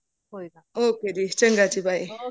ਕੋਈ ਨਾ ok ਜੀ ਚੰਗਾ ਜੀ bye